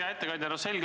Hea ettekandja!